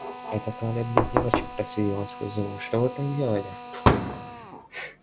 это туалет для девочек процедил он сквозь зубы что вы там делали